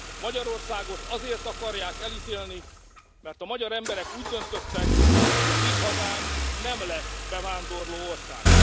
Magyarországot azért akarják elítélni, mert a magyar emberek úgy döntöttek, hogy a mi hazánk nem lesz bevándorlóország.